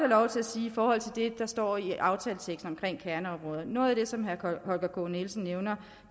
lov til at sige i forhold til det der står i aftaleteksten omkring kerneområder at noget af det som herre holger k nielsen nævner